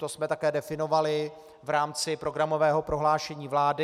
To jsme také definovali v rámci programového prohlášení vlády.